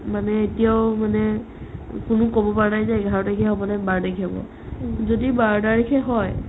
মানে এতিয়াও মানে কোনো ক'ব পৰা নাই যে এঘাৰ তাৰিখে হ'বনে বাৰ তাৰিখে হ'ব যদি বাৰ তাৰিখে হয়